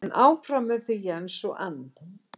En áfram með þau Jens og Anne.